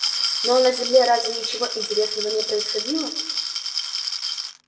ну а на земле разве ничего интересного не происходило